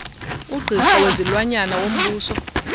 ugqirha wezilwanyana wombuso